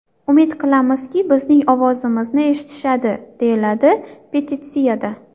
Umid qilamizki, bizning ovozimizni eshitishadi!”, deyiladi petitsiyada.